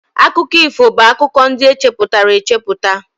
Akụkọ ifo bụ akụkọ ndị echepụtara echepụta